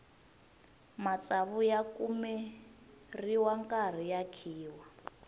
matsavu ya kumeriwa nkarhi ya khiwa